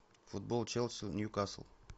футбол челси ньюкасл